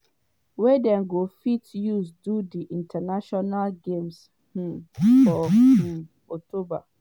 wey dem go fit use for di international games um for um october.